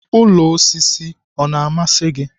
Ụlọ osisi ọ masịrị gị?